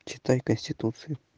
читай конституции